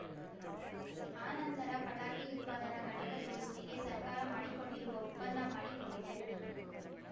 ಆ ನಂತರ ಪಟಾಕಿ ಉತ್ಪಾದನಾ ಘಟಕಗಳೊಂದಿಗೆ ಸರ್ಕಾರ ಮಾಡಿಕೊಂಡಿರುವ ಒಪ್ಪಂದ ಮಾಡಿ ಕೊಂಡಿದೆ